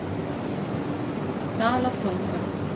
Dalatanga